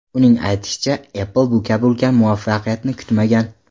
Uning aytishicha, Apple bu kabi ulkan muvaffaqiyatni kutmagan.